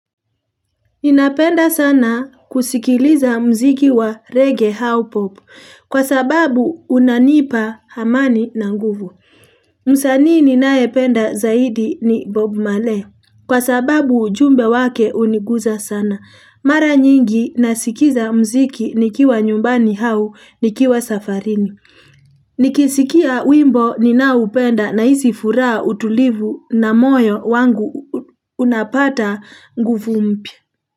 Ninapenda sana kusikiliza muziki wa reggae au pop, kwa sababu unanipa amani na nguvu. Msaani ninayependa zaidi ni Bob mali, kwa sababu ujumbe wake uniguza sana. Mara nyingi nasikiza muziki nikiwa nyumbani au nikiwa safarini. Nikisikia wimbo ninaoupenda nahisi furaha utulivu na moyo wangu unapata nguvu mpya.